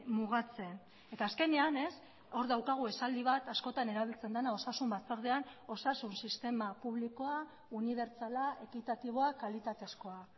mugatzen eta azkenean hor daukagu esaldi bat askotan erabiltzen dena osasun batzordean osasun sistema publikoa unibertsala ekitatiboa kalitatezkoa